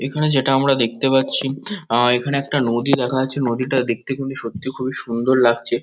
এখানে যেটা আমরা দেখতে পাচ্ছি আ এখানে একটা নদী দেখা যাচ্ছে। নদীটা দেখতে খুবই সত্যি খুবই সুন্দর লাগছে।